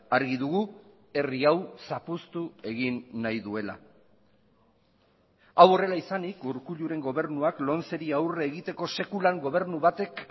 argi dugu herri hau zapuztu egin nahi duela hau horrela izanik urkulluren gobernuak lomceri aurre egiteko sekulan gobernu batek